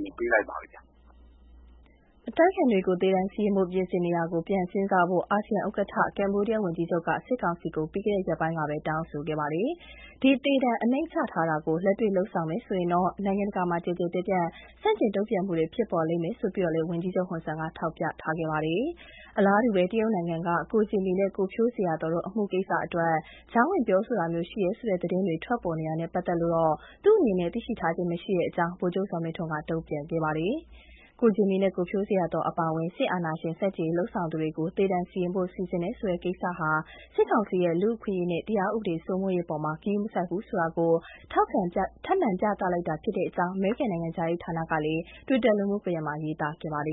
အလင်ပေးလိုက်ပါပြီဗျ။” အတိုက်အခံတွေကို သေဒဏ်စီရင်ဖို့ ပြင်ဆင်နေတာကို ပြန်စဉ်းစားဖို့ အာဆီယံအလှည်ကျဥက္ကဋ္ဌ ကမ္ဘောဒီးယားဝန်ကြီးချုပ်က စစ်ကောင်စီကို ပြီးခဲ့တဲ့ ရက်ပိုင်းက တောင်းဆိုခဲ့တာပါ။ ဒီသေဒဏ်အစီအစဉ်ကို လက်တွေ့လုပ်လိုက်မယ်ဆိုရင်တော့ နိုင်ငံတကာမှာ ကျယ်ကျယ်ပြန့်ပြန့် ဆန့်ကျင်တုံ့ပြန်မူတွေ ဆက်ဖြစ်စေလိမ့်မယ်လို့လည်း ဝန်ကြီးချုပ်ဟွန်ဆန်က ထောက်ပြထားပါတယ်။ အလားတူပဲ တရုတ်နိုင်ငံက ကိုဂျင်မီနဲ့ ကိုဖြိုးဇေယျာသော်တို့အမှုကိစ္စအတွက် ကြားဝင် ပြောဆိုတာမျိုးရှိတယ်ဆိုတဲ့ သတင်းတွေ ထွက်ပေါ်နေတာနဲ့ပတ်သက်လို့တော့ သူ့အနေနဲ့သိရှိထားခြင်းမရှိကြောင်း ဗိုလ်ချုပ်ဇော်မင်းထွန်းက တုံ့ပြန်ခဲ့ပါတယ်။ ကိုဂျင်မီနဲ့ ကိုဇေယာသော်အပါအဝင် အတိုက်အခံတွေကို သေဒဏ်စီရင်ဖို့လုပ်နေတယ်ဆိုတဲ့ သတင်းတွေဟာ စစ်ကောင်စီရဲ့ လူ့အခွင့်အရေးနဲ့ တရားဥပဒေစိုးမိုးရေးအပေါ် ဂရုမစိုက်ဘူးဆိုတာ ထပ်မံ ပြသလိုက်တာဖြစ်တယ်လို့ အမေရိကန်နိုင်ငံခြားရေးဌာနပြောခွင့်ရ Ned Price က မကြာသေးခင်ကပဲ Twitter လူမှုကွန်ယက် မှာ ရေးသားခဲ့ပါတယ